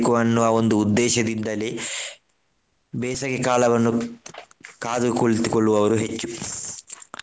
ಅನ್ನುವ ಒಂದು ಉದ್ದೇಶದಿಂದಲೇ ಬೇಸಗೆಕಾಲವನ್ನು ಕಾದು ಕುಳಿತುಕೊಳ್ಳುವವರು ಹೆಚ್ಚು.